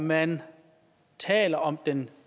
man taler om den